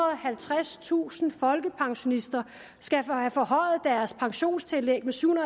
og halvtredstusind folkepensionister skal have forhøjet deres pensionstillæg med syv